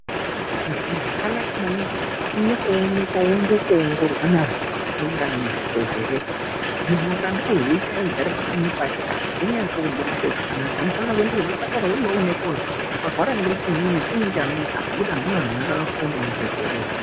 Munthu arwara zviyani, zvakanaka maningi kuti aende kooonekwa, aongororwe ngeanthu akafunda ngezve zvirwere, kuti munthu akade kuzviita eigare pakanyi pake azvinasi kubudise zvakanaka. Unofane kuenda kuzvipatara, woendawo koonase kuzwi warwara ngechiinyi, chiinyi chanesa? Ngendaa yekuti kune vakafunde ngezvirwere.